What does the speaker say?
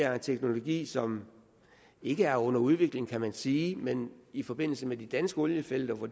er en teknologi som ikke er under udvikling kan man sige men i forbindelse med de danske oliefelter hvor